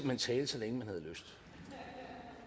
hen tale så længe man